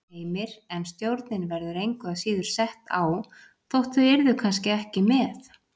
Heimir: En stjórnin verður engu að síður sett á þótt þau yrðu kannski ekki með?